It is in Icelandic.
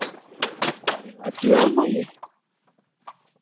Er ég öll í ólagi?